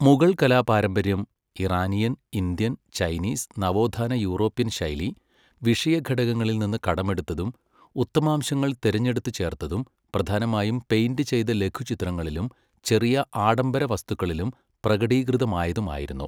മുഗൾ കലാപാരമ്പര്യം Iranian, Indian, Chinese, നവോത്ഥാന European ശൈലീ, വിഷയഘടകങ്ങളിൽ നിന്ന് കടമെടുത്തതും ഉത്തമാംശങ്ങൾ തിരഞ്ഞെടുത്തു ചേർത്തതും, പ്രധാനമായും പെയിൻ്റ് ചെയ്ത ലഘുചിത്രങ്ങളിലും ചെറിയ ആഡംബര വസ്തുക്കളിലും പ്രകടീകൃതമായതുമായിരുന്നു.